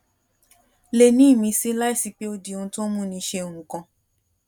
le ní ìmísí láìsí pé ó di ohun tó ń múni ṣe nǹkan